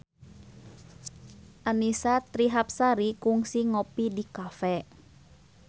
Annisa Trihapsari kungsi ngopi di cafe